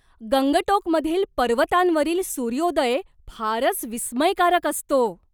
गंगटोकमधील पर्वतांवरील सूर्योदय फारच विस्मयकारक असतो.